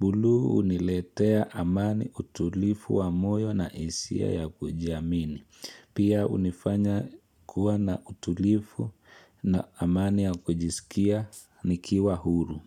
Bulu huniletea amani utulivu wa moyo na hisia ya kujiamini. Pia hunifanya kuwa na utulivu na amani ya kujisikia nikiwa huru.